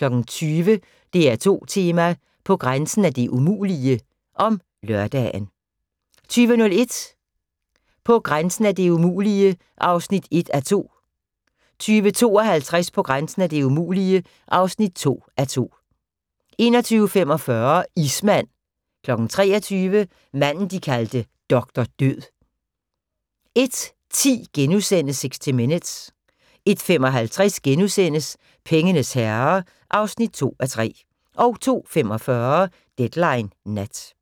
20:00: DR2 Tema: På grænsen af det umulige (lør) 20:01: På grænsen af det umulige (1:2) 20:52: På grænsen af det umulige (2:2) 21:45: Ismand 23:00: Manden de kaldte Doktor Død 01:10: 60 Minutes * 01:55: Pengenes herre (2:3)* 02:45: Deadline Nat